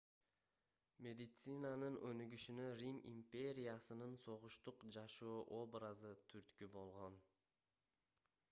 медицинанын өнүгүшүнө рим империясынын согуштук жашоо образы түрткү болгон